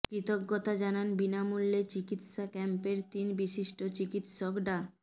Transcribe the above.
কৃতজ্ঞতা জানান বিনামূল্যে চিকিৎসা ক্যাম্পের তিন বিশিষ্ট চিকিৎসক ডা